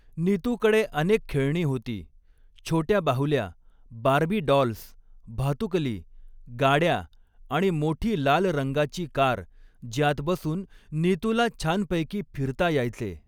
नीतूकडे अनेक खेळणी होती, छोटया बाहुल्या, बार्बी डॉल्स, भातुकली, गाडया आणि मोठी लाल रंगाची कार ज्यात बसून नीतूला छानपैकी फिरता यायचे.